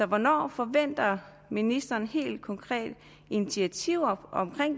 hvornår forventer ministeren helt konkrete initiativer